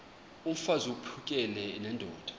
mfaz uphakele nendoda